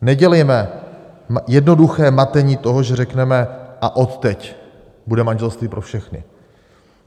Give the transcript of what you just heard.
Nedělejme jednoduché matení toho, že řekneme: a odteď bude manželství pro všechny.